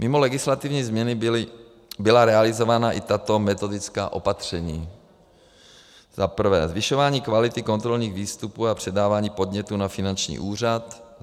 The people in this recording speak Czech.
Mimo legislativní změny byla realizována i tato metodická opatření: Za prvé zvyšování kvality kontrolních výstupů a předávání podnětů na finanční úřad.